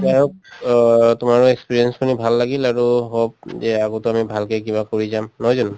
যা হওঁক তোমাৰ experience টো মোৰ ভাল লাগিল আৰু hope যে আগটো আমি ভালকৈ কিবা কৰি যাম নহয় জানো।